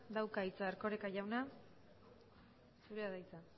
dauka hitza erkoreka jauna zurea da hitza